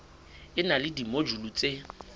e na le dimojule tse